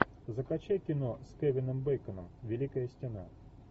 закачай кино с кевином бейконом великая стена